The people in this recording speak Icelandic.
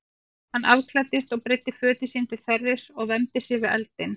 Hann afklæddist og breiddi fötin sín til þerris og vermdi sig við eldinn.